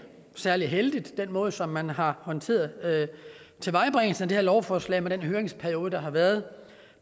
særlig heldigt med den måde som man har håndteret tilvejebringelsen af det her lovforslag på den høringsperiode der har været